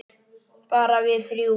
Bara við þrjú.